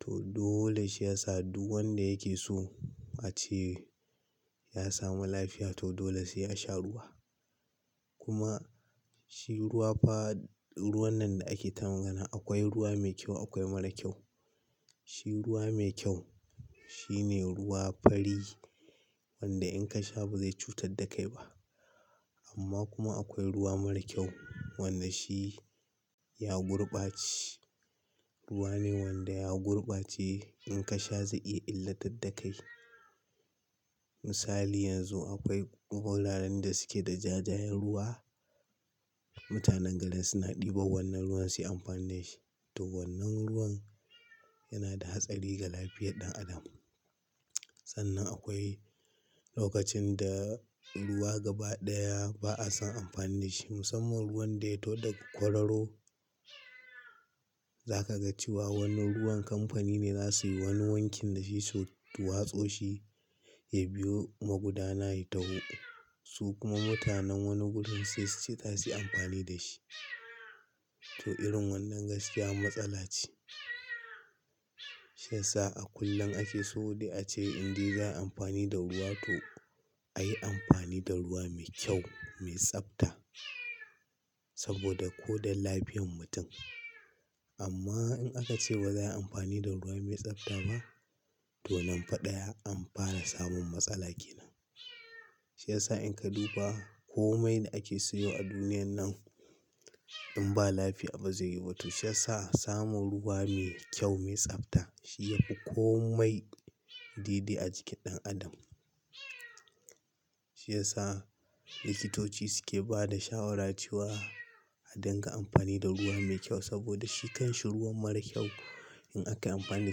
To dole shi yasa duk wanda yake so a ce ya samu lafiya to dole sai ya sha ruwa. Kuma shi ruwa fa ruwan nan da ake ta magana akwai ruwa mai kyau akwai mara kyau. Shi ruwa mai kyau shine ruwa fari wanda in ka sha ba zai cutar da kai ba. Amma kuma akwai ruwa mara kyau wanda shi ya gurbace. Ruwa ne wanda ya gurbace in ka sha zai iya illatad da kai. Misali yanzu akwai wuraren da suke da jajayen ruwa. Mutanen gari suna ɗiba wannan ruwan suyi amfani da shi. To wannan ruwan yana da hatsari ga lafiyar ɗan adam. Sannan akwai lokacin da ruwa gaba ɗaya ba a son amfani da shi. Musamman ruwan da ya taho da ga kwararo. Za ka ga cewa wannan ruwan kamfani ne za su yi wani wankin da shi su watso shi ya biyo magudana ya taho. Su kuma mutanen wani gurin sai su ce zasu yi amfani da shi. To irin wannan gaskiya matsala ce. Shi ya sa a kullum ake so dai a ce indai za a yi amfani da ruwa to a yi amfani da ruwa mai kyau, mai tsafta. Saboda ko don lafiyan mutum. Amma in aka ce ba za a yi amfani da ruwa mai tsafta ba, to nan fa ɗaya an fara samun matsala kenan. Shi ya sa in ka duba komai da ake sayo a duniyan nan in ba lafiya ba zai yi ba to shi ya sa samun ruwa mai kyau, mai tsafta shi yafi komai dede a jikin ɗan adam. Shi ya sa likitoci suke ba da shawarar cewa a dinga amfani da ruwa mai kyau saboda shi kan shi ruwan mara kyau in aka yi amfani da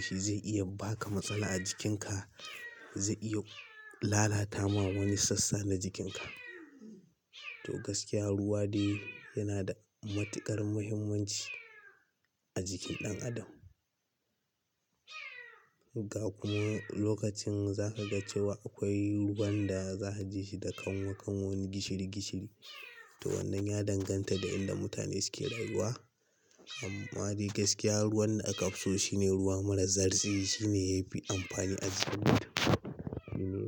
shi zai iya baka matsala a jikinka. Zai iya lalata ma wani sassa na jikinka. To gaskiya ruwa dai yana da matuƙar muhimmanci a jikin ɗan adam. Ga kuma lokacin za ka ga cewa akwai ruwan da za a ji shi da kanwa kanwan gishiri gishiri. To wannan ya danganta da inda mutane suke rayuwa. Amma dai gaskiya ruwan da aka fi so shine ruwa mara zartsi. Shine yafi amfani a jikin mutum.